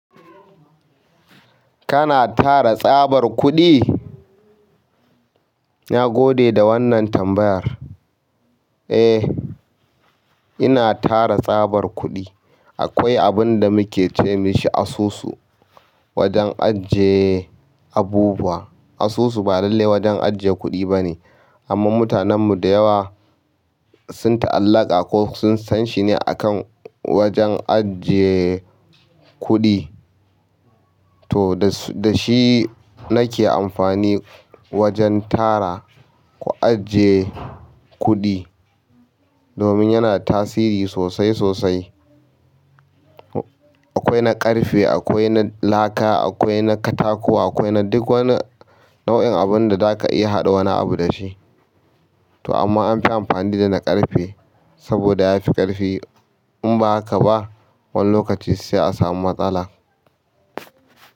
Kana tara tsabar kuɗi? Na gode da wannan tambayar. Eh, ina tara tsabar kuɗi. Akwai abunda muke ce mashi asusu wajen ajiye abubuwa. Asusu ba lalle wajen ajiye kuɗi bane amma mutanen mu da yawa sun ta'allaƙa ko sun san shi ne akan wajen ajiye kuɗi. To da shi nake amfani wajen tara ko ajiye kuɗi domin yana tasiri sosai sosai. Akwai na ƙarfe, akwai na laka, akwai na katako akwai na duk wani nau'in abun da zaka iya haɗa wani abu da shi. To amma anfi amfani da na ƙarfe saboda ya fi ƙarfi in ba haka ba wani lokaci sai a samu matsala.